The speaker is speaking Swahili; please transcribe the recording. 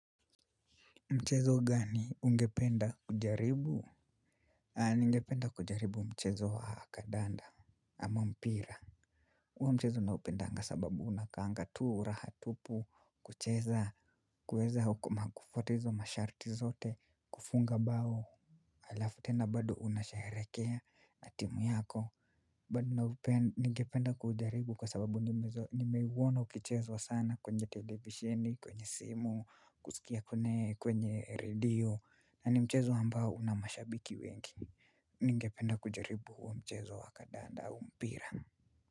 Mchezo gani ungependa kujaribu? Ah ningependa kujaribu mchezo wa kadanda ama mpira huo mchezo naupendanga sababu unakanga tuu rahatupu kucheza kuweza na kufuata izo masharti zote kufunga bao alafu tena bado unashaherekea na timu yako bado ningependa kuujaribu kwa sababu nimeuona ukichezwa sana kwenye televisheni, kwenye simu, kusikia kwenye redio. Na ni mchezo ambao una mashabiki wengi ningependa kujaribu huu mchezo wa kadanda au mpira.